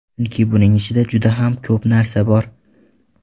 Chunki buning ichida juda ham ko‘p narsa bor.